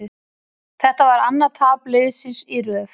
Þetta var annað tap liðsins í röð.